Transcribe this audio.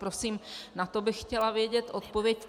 Prosím, na to bych chtěla vědět odpověď.